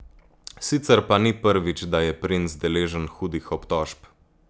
Sicer pa ni prvič, da je princ deležen hudih obtožb.